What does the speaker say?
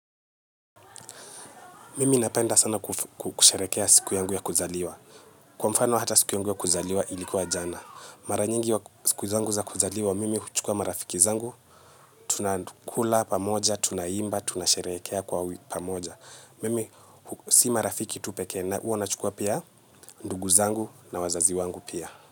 Mimi napenda sana kusherekea siku yangu ya kuzaliwa. Kwa mfano hata siku yangu ya kuzaliwa ilikuwa jana. Maranyingi wa siku zangu za kuzaliwa, mimi huchukua marafiki zangu. Tunakula pamoja, tunaimba, tunasherehekea kwa pamoja. Mimi si marafiki tupeke na huwa nachukua pia ndugu zangu na wazazi wangu pia.